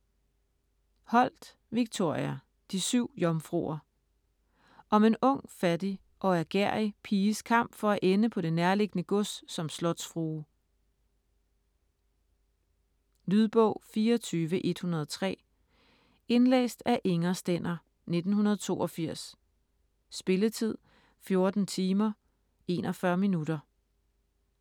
Holt, Victoria: De syv jomfruer Om en ung, fattig og ærgerrig piges kamp for at ende på det nærliggende gods som slotsfrue. Lydbog 24103 Indlæst af Inger Stender, 1982. Spilletid: 14 timer, 41 minutter.